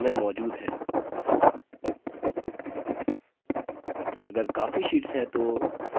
इस पर विस्तृत जानकारी working with sheets tutorial में मौजूद है